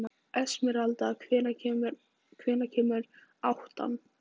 Esmeralda, hvenær kemur áttan?